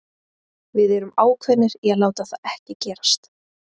Við erum ákveðnir í að láta það ekki gerast.